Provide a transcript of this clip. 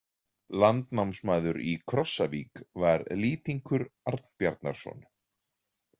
Landnámsmaður í Krossavík var Lýtingur Arnbjarnarson.